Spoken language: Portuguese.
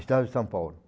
Estado de São Paulo.